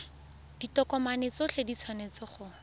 ditokomane tsotlhe di tshwanetse go